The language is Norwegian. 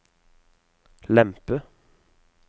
lempe